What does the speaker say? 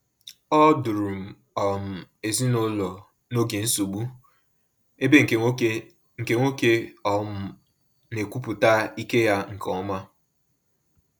Ọ duru um ezinụlọ n’oge nsogbu, ebe nke nwoke nke nwoke um na-ekwupụta ike ya nke ọma.